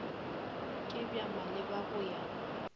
ke bja maleba go ya